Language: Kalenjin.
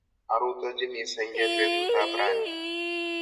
Arutochini senge petut ap raini